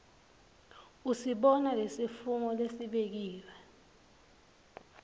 usibona lesifungo lesibekiwe